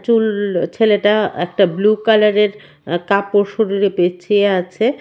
চুল ছেলেটা একটা ব্লু কালারের আ কাপড় শরীরে পেঁচিয়ে আছে.